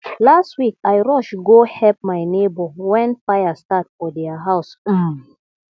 last week i rush go help my neighbor when fire start for their house um